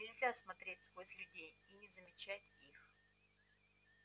нельзя смотреть сквозь людей и не замечать их